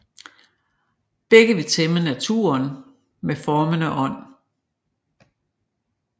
Begge vil tæmme naturen med formende ånd